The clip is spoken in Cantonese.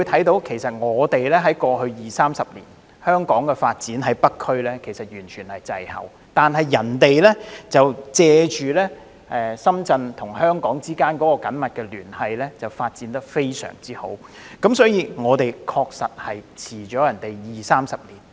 大家都看到，過去二三十年，香港北區的發展滯後，但深圳卻藉着與香港的緊密聯繫，發展得非常好，我們確實滯後了二三十年。